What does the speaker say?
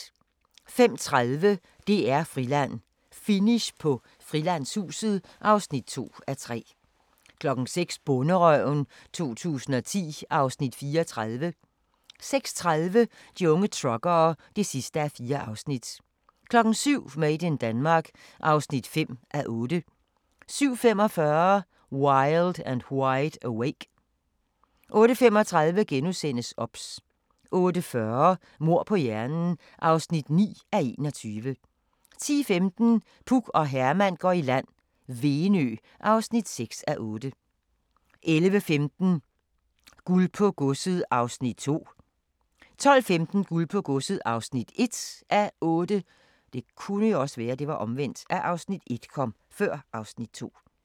05:30: DR-Friland: Finish på Frilandshuset (2:3) 06:00: Bonderøven 2010 (Afs. 34) 06:30: De unge truckere (4:4) 07:00: Made in Denmark (5:8) 07:45: Wild and Wide awake 08:35: OBS * 08:40: Mord på hjernen (9:21) 10:15: Puk og Herman går i land - Venø (6:8) 11:15: Guld på Godset (2:8) 12:15: Guld på Godset (1:8)